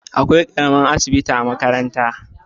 Akwai ƙaramin asibitin a makaranta.